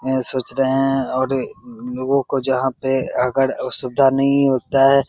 एह सोच रहे है और लोगो को जहाँ पे अगर वो सुविधा नही होता है -- जहान